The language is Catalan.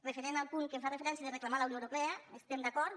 referent al punt que fa referència a reclamar a la unió europea hi estem d’acord